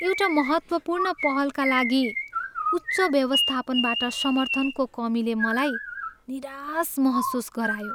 एउटा महत्त्वपूर्ण पहलका लागि उच्च व्यवस्थापनबाट समर्थनको कमीले मलाई निराश महसुस गरायो।